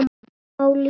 Allt sem máli skipti.